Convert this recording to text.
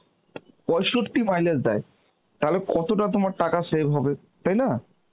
পৈশত্তি mileage দেয়, তাহলে কতটা তোমার টাকা save হবে, তাই না?